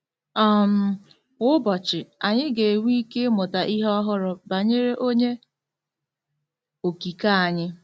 um Kwa ụbọchị, anyị ga-enwe ike ịmụta ihe ọhụrụ banyere Onye Okike anyị.